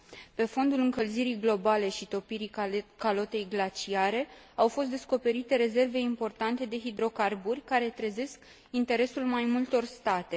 Pe fondul încălzirii globale și topirii calotei glaciare, au fost descoperite rezerve importante de hidrocarburi, care trezesc interesul mai multor state.